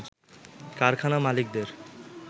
কারখানা মালিকদের